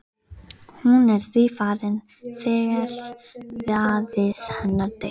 Hún er því farin þegar faðir hennar deyr.